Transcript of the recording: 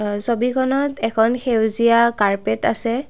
অ ছবিখনত এখন সেউজীয়া কার্পেট আছে।